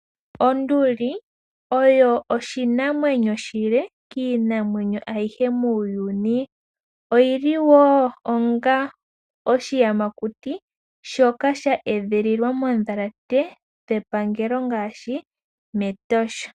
Onduli oyo oshinamwenyo oshile kiinamwenyo ayihe muuyuni oyi li wo onga oshiyamakuti shoka sha edhililwa moondhalata dhepangelo ngaashi mEtosha.